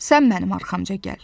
Sən mənim arxamca gəl.